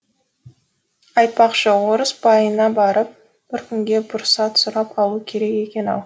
айтпақшы орыс байына барып бір күнге пұрсат сұрап алу керек екен ау